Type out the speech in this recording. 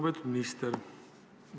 Lugupeetud minister!